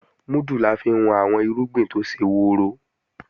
Múdù la fi ń wọn àwọn irúgbìn tó ṣe woro